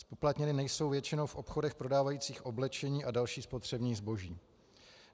Zpoplatněny nejsou většinou v obchodech prodávajících oblečení a další spotřební zboží.